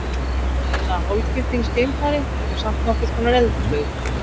Ég er í svona eiginlega hálfgildings geimfari sem er samt nokkurs konar eldflaug.